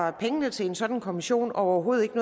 at pengene til en sådan kommission overhovedet ikke